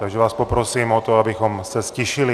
Takže vás poprosím o to, abychom se ztišili.